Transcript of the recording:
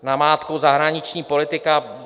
Namátkou: zahraniční politika.